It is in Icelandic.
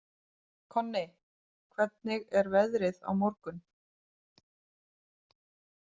Konni, hvernig er veðrið á morgun?